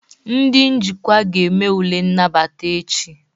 Ndị njikwa ga-eme ule nnabata echi